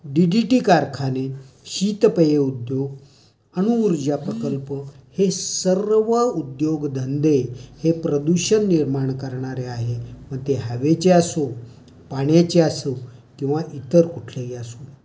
DDT कारखाने, शीतपेय उद्योग, अणूउर्जा प्रकल्प, हे सर्व उद्योगधंदे हे प्रदूषण निर्माण करणारे आहेत. ते हवेचे असो, पाण्याचे असो किंवा इतर कुठलेही असो.